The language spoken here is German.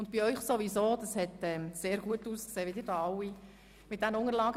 Bei den Ratsmitgliedern hat es ja offensichtlich auch gut funktioniert.